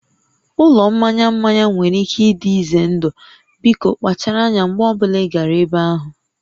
Ụlọ mmanya mmanya nwere ike ịdị ize ndụ, biko kpachara anya mgbe ọ bụla ị gara ebe ahụ